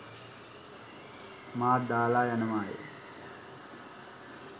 මාත් දාලා යනවාය.